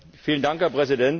Herr Präsident!